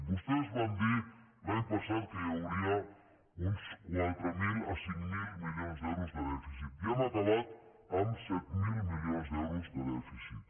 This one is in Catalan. vostès van dir l’any passat que hi hauria uns quatre mil a cinc mil milions d’euros de dèficit i hem acabat amb set mil milions d’euros de dèficit